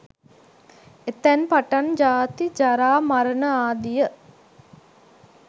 එතැන් පටන් ජාති, ජරා, මරණ ආදිය